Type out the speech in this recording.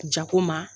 Jago ma